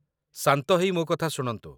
ଶାନ୍ତ ହେଇ ମୋ କଥା ଶୁଣନ୍ତୁ